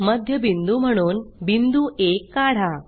मध्यबिंदू म्हणून बिंदू आ काढा